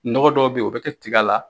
Nɔgɔ dɔw bɛ yen o bɛ kɛ tiga la